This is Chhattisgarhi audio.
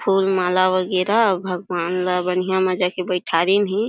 फूल माला वगैरा अउ भगवान ला बढ़िया म जाके बईठारिन हे।